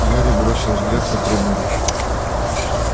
гарри бросил взгляд на трибуну